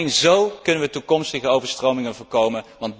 Alleen zo kunnen we toekomstige overstromingen voorkomen.